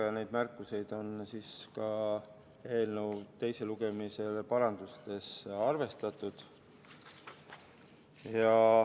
Ja neid märkusi on eelnõu teise lugemise parandustes arvestatud.